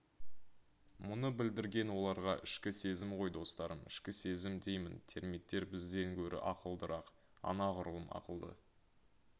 мұны білдірген оларға ішкі сезім ғой достарым ішкі сезім деймін термиттер бізден гөрі ақылдырақ анағұрлым ақылды